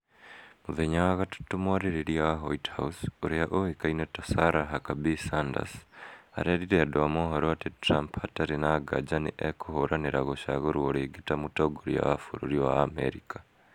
Mũthenya wa gatatũ mwarĩrĩria wa White House ũrĩa ũwĩkaine ta Sara Huckabee Sanders arerire andũ a mohoro atĩ Trump hatarĩ na nganja nĩ ekũhũranĩra gũcagũrwo rĩngĩ ta mũtongoria wa bũrũri wa Amerika.